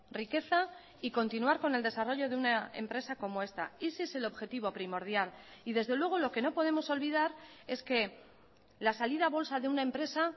riqueza y continuar con el desarrollo de una empresa como esta ese es el objetivo primordial y desde luego lo que no podemos olvidar es que la salida a bolsa de una empresa